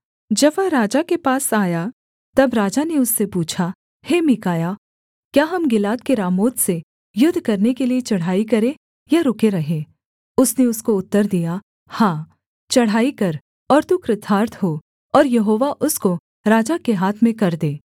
जब वह राजा के पास आया तब राजा ने उससे पूछा हे मीकायाह क्या हम गिलाद के रामोत से युद्ध करने के लिये चढ़ाई करें या रुके रहें उसने उसको उत्तर दिया हाँ चढ़ाई कर और तू कृतार्थ हो और यहोवा उसको राजा के हाथ में कर दे